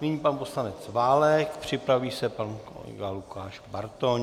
Nyní pan poslanec Válek, připraví se pan kolega Lukáš Bartoň.